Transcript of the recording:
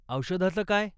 औषधांच काय?